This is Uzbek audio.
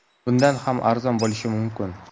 Bundan ham arzon bo‘lishi mumkin.